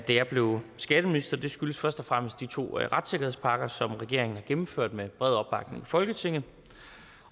jeg blev skatteminister det skyldes først og fremmest de to retssikkerhedspakker som regeringen har gennemført med bred opbakning i folketinget